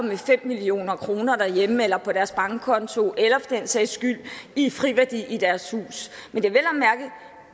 med fem million kroner derhjemme eller på deres bankkonto eller for den sags skyld i friværdi i deres hus men det